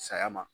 Saya ma